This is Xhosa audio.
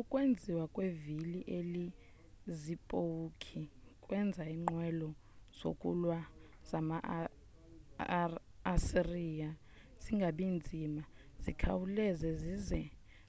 ukwenziwa kwevili elinezipowukhi kwenza iinqwelo zokulwa zama-asiriya zingabi nzima zikhawuleze zize